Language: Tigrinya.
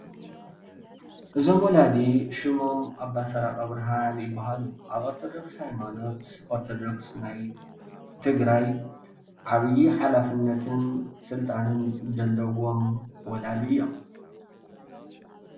እዞም ወላዲ ሽሞም ኣባ ሰረቀ ብርሃን ይባሃሉ፡፡ አብ ኦርተዶክ ሃይማኖት ኦርተዶክ ናይ ትግራይ ዓብይ ሓላፍነትን ስልጣንን ዘለዎ ወላዲ እዮም፡፡